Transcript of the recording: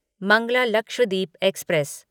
Mangla Lakshadweep express